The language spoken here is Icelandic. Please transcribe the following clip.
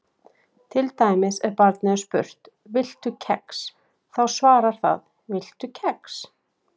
Til dæmis ef barnið er spurt: Viltu kex? þá svarar það Viltu kex?